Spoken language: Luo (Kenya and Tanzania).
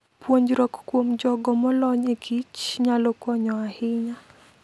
Puonjruok kuom jogo molony ekich nyalo konyo ahinya.